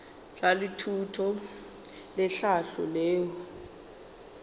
bja thuto le tlhahlo leo